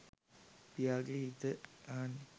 ප්‍රියාගේ ගීත අහන්න.